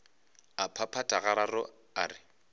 a phaphatha gararo a re